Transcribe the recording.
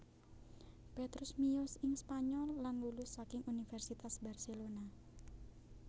Petrus miyos ing Spanyol lan lulus saking Universitas Barcelona